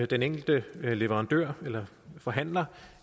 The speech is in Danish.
den enkelte leverandør eller forhandler